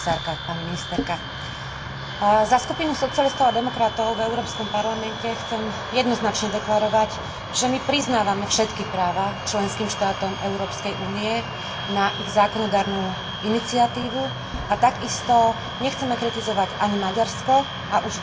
Za Skupinu socialistov a demokratov v Európskom parlamente chcem jednoznačne deklarovať, že my priznávame všetky práva členským štátom Európskej únie na ich zákonodarnú iniciatívu a takisto nechceme kritizovať ani Maďarsko a už vôbec nie občanov Maďarskej republiky.